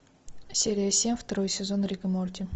серия семь второй сезон рик и морти